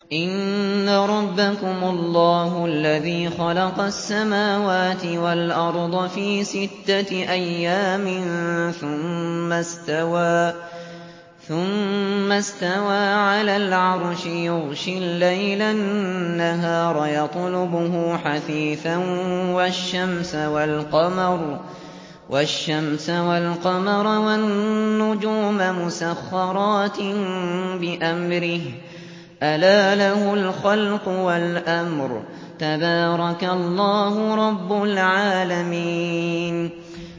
إِنَّ رَبَّكُمُ اللَّهُ الَّذِي خَلَقَ السَّمَاوَاتِ وَالْأَرْضَ فِي سِتَّةِ أَيَّامٍ ثُمَّ اسْتَوَىٰ عَلَى الْعَرْشِ يُغْشِي اللَّيْلَ النَّهَارَ يَطْلُبُهُ حَثِيثًا وَالشَّمْسَ وَالْقَمَرَ وَالنُّجُومَ مُسَخَّرَاتٍ بِأَمْرِهِ ۗ أَلَا لَهُ الْخَلْقُ وَالْأَمْرُ ۗ تَبَارَكَ اللَّهُ رَبُّ الْعَالَمِينَ